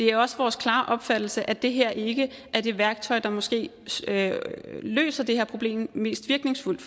det er også vores klare opfattelse at det her ikke er det værktøj der måske løser det her problem mest virkningsfuldt